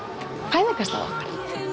fæðingarstað okkar